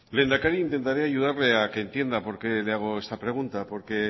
lehendakari intentaré ayudarle a que entienda por qué le hago esta pregunta porque